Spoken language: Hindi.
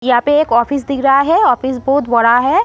यहाँ पे एक ऑफिस दिख रहा है ऑफिस बहोत बड़ा है।